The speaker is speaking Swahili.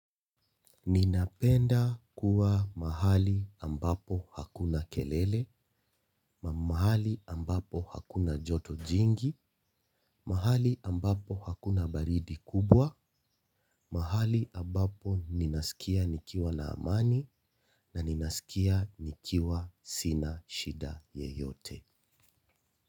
Ninapenda kuwa mahali ambapo hakuna kelele, mahali ambapo hakuna joto jingi, mahali ambapo hakuna baridi kubwa, mahali ambapo ninasikia nikiwa na amani na ninasikia nikiwa sina shida yeyote.